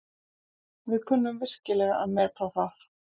Við kunnum virkilega að meta það.